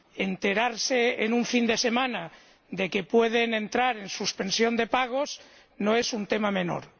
Enterarse en un fin de semana de que pueden entrar en suspensión de pagos no es un tema menor.